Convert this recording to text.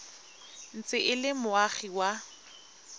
ntse e le moagi wa